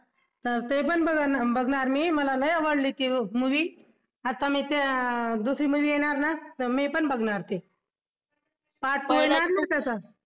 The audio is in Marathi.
तर ते पण बघणार मी मला लई आवडली ती movie आता मी त्या दुसरी movie येणार ना तर मी पण बघणार ती part two